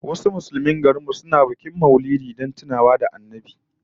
Wasu Musulmin garin mu suna bikin Maulidi don tuna haihuwar Annabi Muhammad